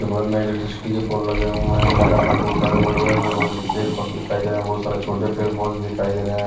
के बगल में इलेक्ट्रिसिटी के पोल लगे हुए हैं मैदान में बहुत सारे बड़े बड़े पेर पौध पेर पद दिखाई दे रहे हैं बहुत सारे छोटे पेर पौधे दिखाई दे रहे हैं।